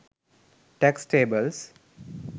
tax tables